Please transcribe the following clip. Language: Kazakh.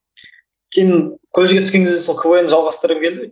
кейін колледжге түскен кезде сол квн ді жалғастырғым келді